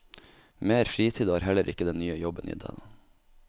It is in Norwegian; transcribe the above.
Mer fritid har heller ikke den nye jobben gitt henne.